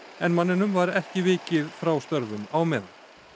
en manninum var ekki vikið frá störfum á meðan